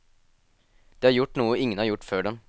De har gjort noe ingen har gjort før dem.